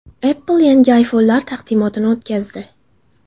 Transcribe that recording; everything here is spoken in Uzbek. Apple yangi iPhone’lar taqdimotini o‘tkazdi.